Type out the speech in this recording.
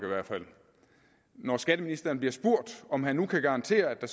når skatteministeren bliver spurgt om han kan garantere at der